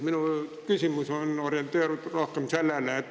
Minu küsimus on selline.